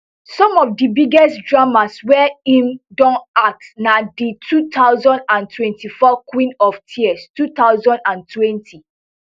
some of di biggest dramas wey im don act na di two thousand and twenty-four queen of tears two thousand and twenty